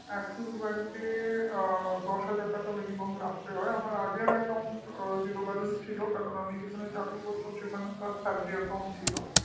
axis bank এ minimum দশ হাজার টাকা রাখতে হয় আমার আগের account এ zero balance ছিল কারণ আমি যেখানে চাকরি করতাম সেখানকার salary account ছিল